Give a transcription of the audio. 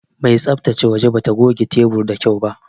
Mai tsabtace waje bata goge tebur da kyau ba.